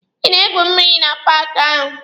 Ị na-egwu mmịrị na paaki ahụ?